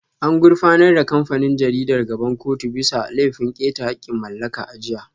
An gurfanar da kamfanin jaridar gaban kotu bisa laifin keta haƙƙin mallaka a jiya